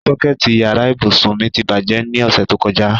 Sọ́kẹ̀tì yàrá ìbùsùn mi ti bàjẹ́ ní ọ̀sẹ̀ tó kọjá.